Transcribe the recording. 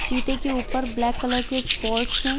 चीते के ऊपर ब्लैक कलर के स्पोर्ट्स है।